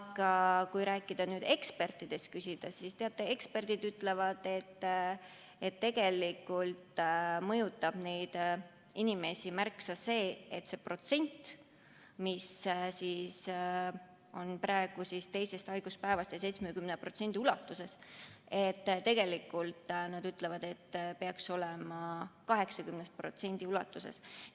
Aga kui rääkida ekspertidest ja neilt küsida, siis eksperdid ütlevad, et tegelikult mõjutab neid inimesi märksa enam see, et see hüvitusmäär, mis on praegu teisest haiguspäevast 70% ulatuses, peaks olema 80% ulatuses.